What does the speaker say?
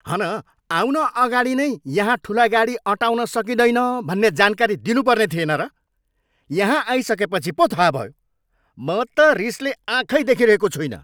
हन आउन अगाडि नै यहाँ ठुला गाडी अँटाउन सकिँदैन भन्ने जानकारी दिनुपर्ने थिएन र? यहाँ आइसकेपछि पो थाहा भयो। म त रिसले आँखै देखिरहेको छुइनँ।